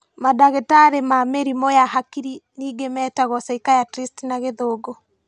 Mandagĩtarĩ ma mĩrimũ ya hakiri ningĩ metagwo psychiatrists na gĩthũngũ